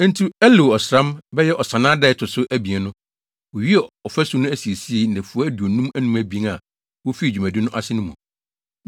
Enti Elul ɔsram (bɛyɛ Ɔsannaa) da a ɛto so abien no, wowiee ɔfasu no asiesie, nnafua aduonum abien a wofii dwumadi no ase no mu.